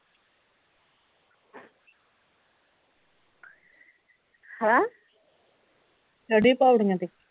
ਹੈਂ ਚੜੀ ਪੌੜੀਆਂ ਤੇ